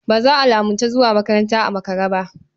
Ba za a lamunci zuwa makaranta a makare ba.